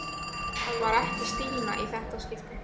Það var ekki Stína í þetta skipti.